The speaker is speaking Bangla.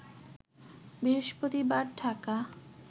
বৃহস্পতিবার ঢাকা